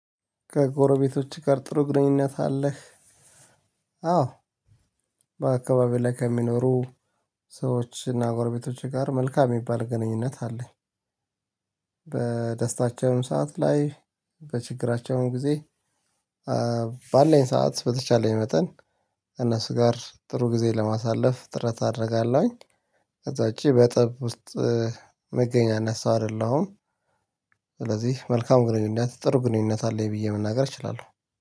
ከጎረቤቶችህ ጋር ጥሩ ግንኙነት አለህ? አዎ በአካባቢው ላይ ከሚኖሩ ሰዎች እና ጎረቤቶቼ ጋር መልካም የሚባል ግንኙነት አለኝ። በደስታቸውም ሰዓት ላይ በችግራቸውም ጊዜ ባለኝ ሰዓት በተቻለኝ መጠን ከእነሱ ጋር ጥሩ ጊዜ ለማሳለፍ ጥረት አደርጋለሁኝ። በታች በጠብ ውስጥ እምገኝ አይነት ሰው አይደለሁም። ስለዚህ መልካም ግንኙነት፤ ጥሩ ግንኙነት አለኝ ብዬ መናገር እችላለሁ።